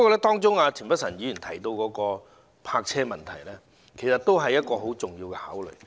不過，田北辰議員提及的泊車問題也十分重要。